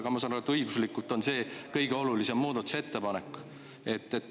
Aga ma saan aru, et õiguslikult on see kõige olulisem muudatusettepanek.